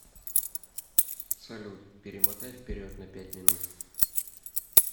салют перемотай вперед на пять минут